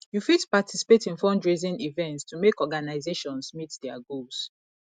yu fit participate in fundraising events to help organizations meet their goals